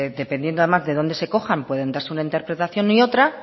dependiendo además de dónde se cojan pueden darse una interpretación y otra